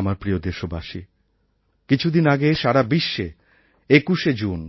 আমার প্রিয় দেশবাসী কিছুদিন আগে সারা বিশ্বে ২১শে জুন